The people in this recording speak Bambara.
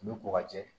U bɛ ko ka jɛ